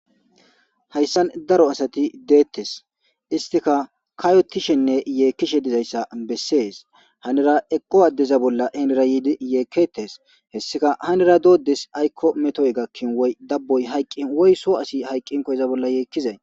Hayssan daro asati deetes istika katotishenne yeekishe dizaysa besees hanira eqo adeza bolla henira yiidi yeeketes hessika hannira diyo ades ayko metoy gakin woy daboy haykin woy soo asi haykinkko iza bolla yeekizay.